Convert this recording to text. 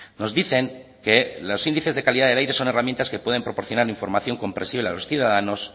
nos dicen que los índices de calidad del aire son herramientas que pueden proporcionar información comprensiva a los ciudadanos